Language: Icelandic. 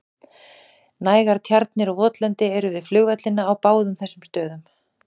Nægar tjarnir og votlendi eru við flugvellina á báðum þessum stöðum.